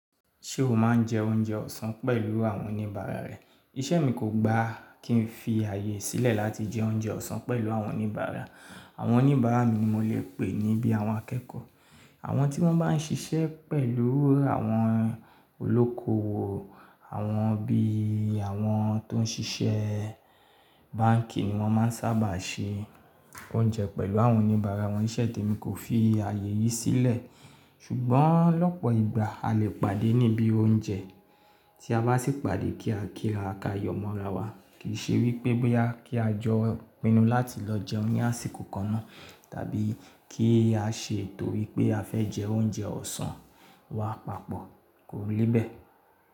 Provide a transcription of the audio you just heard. Ṣé o máa ń jẹ oúnjẹ ọ̀sán pẹ̀lú àwọn oníbàárà rẹ? Ìṣe mi kò gbà kí n fi ààyè sílẹ̀ láti jẹ oúnjẹ ọ̀sán pẹ̀lú àwọn oníbàárà. Àwọn oníbàárà mi ni mo lè pè nibí àwọn akẹ́kọ̀ọ́. Àwọn tí wọ́n bá ń ṣiṣẹ́ pẹ̀lú àwọn olóko owo, àwọn bí àwọn tó ń ṣiṣẹ́ báǹkì ni wọ́n máa ń sábà ṣe oúnjẹ pẹ̀lú àwọn oníbàárà wọn. Ìṣe te mi kò fi ààyè yìí sílẹ̀. Ṣùgbọ́n lọ́pọ̀ ìgbà, a lè pàdé níbí oúnjẹ, tí a bá sì pàdé kí a kíra, ka yọ̀mọ̀ra wa. Kì í ṣe wípé boya kí a jọ pinnu láti lọ jẹoún ni àsìkò kan náà, tàbí kí á ṣe torípé a fẹ́ jẹ oúnjẹ ọ̀sán. Wà papọ̀, kò lè bẹ́ẹ̀.